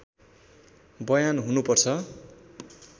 बयान हुनुपर्छ